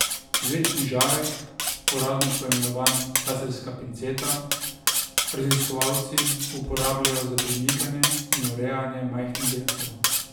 Vlečni žarek, uradno poimenovan laserska pinceta, raziskovalci uporabljajo za premikanje in urejanje majhnih delcev.